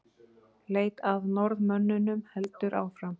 Leit að Norðmönnunum heldur áfram